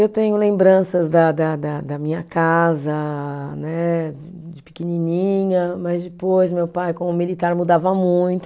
Eu tenho lembranças da da da, da minha casa, de pequenininha, mas depois meu pai, como militar, mudava muito.